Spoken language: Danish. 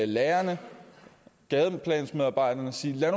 lærerne gadeplansmedarbejderne og sige lad